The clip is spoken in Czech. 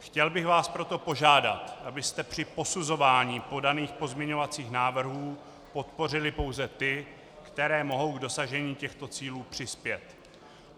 Chtěl bych vás proto požádat, abyste při posuzování podaných pozměňovacích návrhů podpořili pouze ty, které mohou k dosažení těchto cílů přispět.